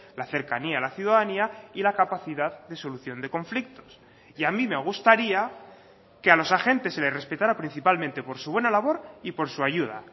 la cercanía a la ciudadanía y la capacidad de solución de conflictos y a mí me gustaría que a los agentes se les respetará principalmente por su buena labor y por su ayuda